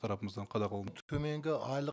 тарапымыздан төменгі айлық